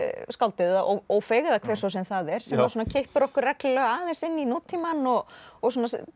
skáldið Ófeig eða hver svo sem það er sem kippir okkur reglulega aðeins inn í nútímann og og